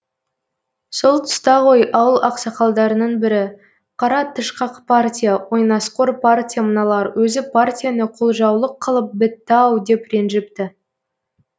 сол тұста ғой ауыл ақсақалдарының бірі қара тышқақ партия ойнасқор партия мыналар өзі партияны қолжаулық қылып бітті ау деп ренжіпті